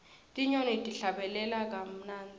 tinyoni tihlabelela kamunandzi